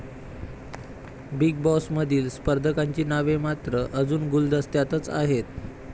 Big बॉसमधील स्पर्धकांची नावे मात्र अजून गुलदस्त्यातच आहेत.